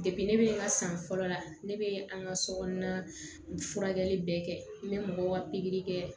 ne bɛ n ka san fɔlɔ la ne bɛ an ka sokɔnɔna furakɛli bɛɛ kɛ n bɛ mɔgɔw ka pikiri kɛ